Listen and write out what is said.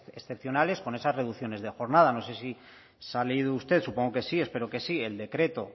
excepcionales con esas reducciones de jornada no sé si se ha leído usted supongo que sí espero que sí el decreto